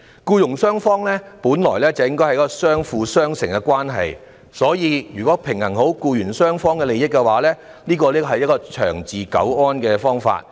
僱傭之間本來是相輔相成的關係，所以平衡僱傭雙方的利益才是長治久安的良策。